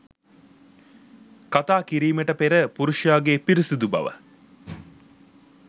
කතා කිරීමට පෙර පුරුෂයාගේ පිරිසිදු බව